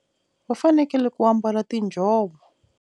Va fanekele ku ambala tinjhovo.